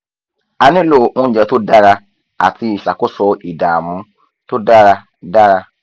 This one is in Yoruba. a nílò oúnjẹ tó dára àti ìṣàkóso ìdààmú tó dára dára